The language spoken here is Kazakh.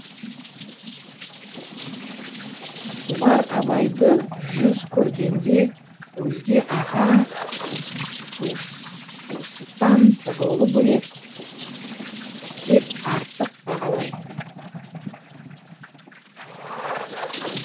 шұбар абайды жүз көргенде өзге аға туысытан жолы бөлек деп артық бағалайтын